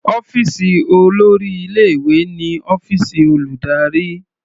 Ọ́fíìsì olórí ilé-ìwé ni ọ́fíìsì olùdarí.